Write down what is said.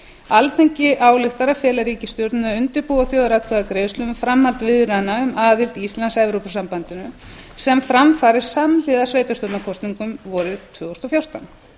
alþingi ályktar að fela ríkisstjórninni að undirbúa þjóðaratkvæðagreiðslu um framhald viðræðna um aðild íslands að evrópusambandinu sem fram fari samhliða sveitarstjórnarkosningum vorið tvö þúsund og fjórtán